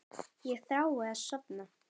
Ég þrái að sofna.